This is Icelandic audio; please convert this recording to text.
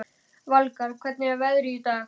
Valgarð, hvernig er veðrið í dag?